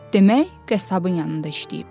Demək, qəssabın yanında işləyib.